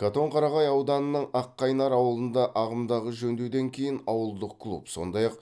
катонқарағай ауданының аққайнар ауылында ағымдағы жөндеуден кейін ауылдық клуб сондай ақ